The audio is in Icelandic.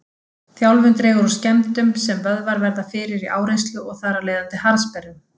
Þjálfun dregur úr skemmdum sem vöðvar verða fyrir í áreynslu og þar af leiðandi harðsperrum.